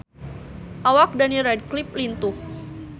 Awak Daniel Radcliffe lintuh